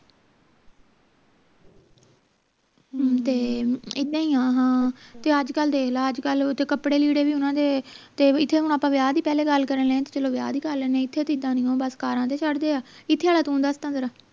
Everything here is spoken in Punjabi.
ਤੇ ਇੱਦਾਂ ਹੀ ਆ ਹਾਂ ਤੇ ਅੱਜਕਲ ਦੇਖ ਲੈ ਅੱਜਕਲ ਤੇ ਕਪੜੇ ਲੀੜੇ ਵੀ ਓਹਨਾ ਦੇ ਤੇ ਇਥੇ ਹੁਣ ਆਪਾਂ ਵਿਆਹ ਦੀ ਪਹਿਲਾਂ ਗੱਲ ਕਰਨ ਲਗੇ ਹੈਂ ਤਾਂ ਵਿਆਹ ਦੀ ਕਰ ਲੈਣੇ ਆ ਇਥੇ ਤਾਂ ਇੱਦਾਂ ਨਹੀਂਉ ਬਸ ਕਾਰਾਂ ਤੇ ਚੜਦੇ ਆ ਇਥੇ ਆਲਾ ਤੂੰ ਦਸ ਤਾਂ ਜ਼ਰਾ